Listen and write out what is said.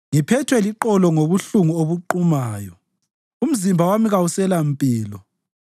Ngiphethwe liqolo ngobuhlungu obuqumayo; umzimba wami kawuselampilo.